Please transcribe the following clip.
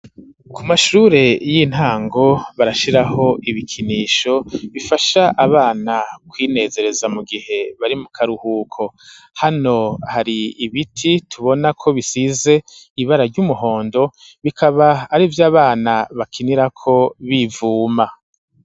Ku mashure y'intango, barashiraho ibikinisho bifasha abana kwinezereza, mu gihe bari mu karuhuko hano hari ibiti tubona ko bisize ibara ry'umuhondo ,bikaba ari vy 'abana bakinira ko ibivuma.